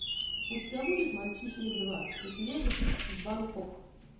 у тебя будет мальчишник два из вегаса в бангкок